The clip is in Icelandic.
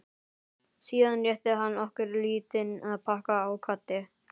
Síðan rétti hann okkur lítinn pakka og kvaddi.